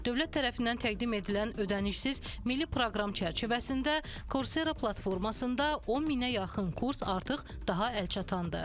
Dövlət tərəfindən təqdim edilən ödənişsiz milli proqram çərçivəsində Kursera platformasında 10 minə yaxın kurs artıq daha əlçatandır.